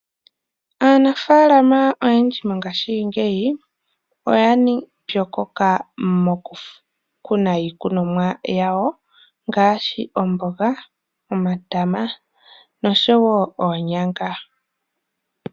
Aanafalama oyendji mongaashi ngeyi oya pyokoka moku kuna iikunomwa yawo ngaashi omboga, omatama noonyanga.